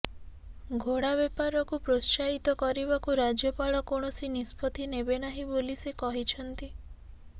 ଘୋଡ଼ାବେପାରକୁ ପ୍ରୋତ୍ସାହିତ କରିବାକୁ ରାଜ୍ୟପାଳ କୌଣସି ନିଷ୍ପତ୍ତି ନେବେ ନାହିଁ ବୋଲି ସେ କହିଛନ୍ତି